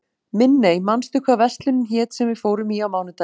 Minney, manstu hvað verslunin hét sem við fórum í á mánudaginn?